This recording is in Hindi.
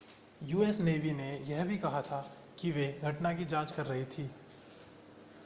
यूएस नेवी ने यह भी कहा था कि वे घटना की जांच कर रही थी